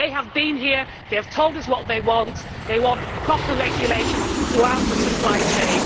They have been here, they have told us what they want they want proper regulation throughout the supply chain.